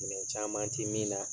Gɛlɛya caman tɛ min na.